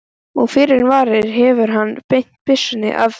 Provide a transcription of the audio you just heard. Og fyrr en varir hefur hann beint byssunni að mér.